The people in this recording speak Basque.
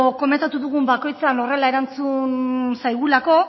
komentatu dugun bakoitzean horrela erantzun zaigulako